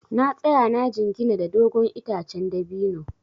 Na tsaya na jingina da dogon itacen dabino.